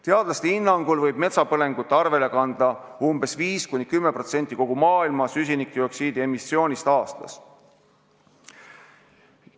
Teadlaste hinnangul võib metsapõlengute arvele kanda 5–10% aastasest süsinikdioksiidi emissioonist kogu maailmas.